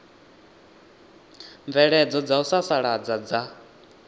mvelelo dza u sasaladza dza